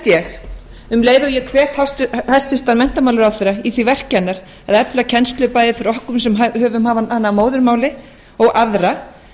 ég um leið og ég hvet hæstvirtan menntamálamálaráðherra í því verki hennar að efla kennslu bæði fyrir okkur sem höfum hana að móðurmáli og aðra